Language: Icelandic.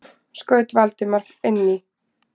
skaut Valdimar inn í.